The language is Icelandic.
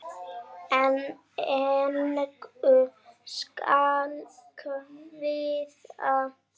En engu skal kvíða.